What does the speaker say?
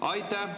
Aitäh!